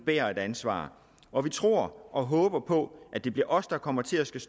bærer et ansvar og vi tror og håber på at det bliver os der kommer til at skulle